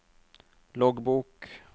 loggbok